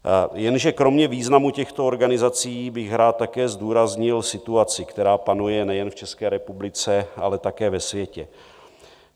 Jenže kromě významu těchto organizací bych rád také zdůraznil situaci, která panuje nejen v České republice, ale také ve světě.